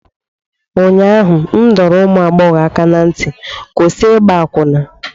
ụnyaahụ m dọrọ ụmụ agbọghọ aka ná ntị, kwụsị ịgba akwụna!